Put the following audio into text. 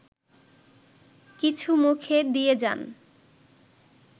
কিছু মুখে দিয়ে যান